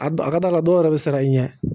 A ka d'a ka dɔw yɛrɛ bɛ siran i ɲɛ